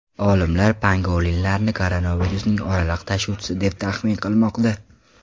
Olimlar pangolinlarni koronavirusning oraliq tashuvchisi deb taxmin qilmoqda.